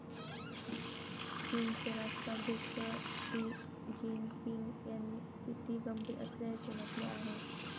चीनचे राष्ट्राध्यक्ष Xi Jinping यांनी स्थिती गंभीर असल्याचे म्हटले आहे.